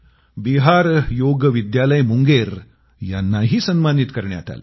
बिहार योग विद्यालय मुंगेर यांनाही सन्मानित करण्यात आले